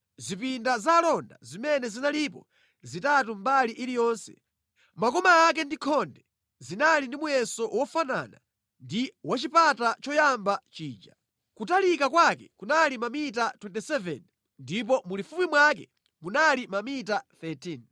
Zipinda za alonda zimene zinalipo zitatu mbali iliyonse, makoma ake ndi khonde zinali ndi muyeso wofanana ndi wachipata choyamba chija. Kutalika kwake kunali mamita 27 ndipo mulifupi mwake munali mamita 13.